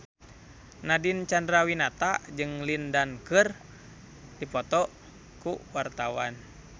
Nadine Chandrawinata jeung Lin Dan keur dipoto ku wartawan